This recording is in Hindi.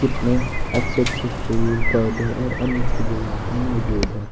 कितने अच्छे अच्छे फूल पौधे और अन्य चीजे यहां पर मौजूद है।